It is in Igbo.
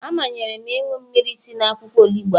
A manyere m ịṅụ mmiri si n'akwụkwọ onugbu ahụ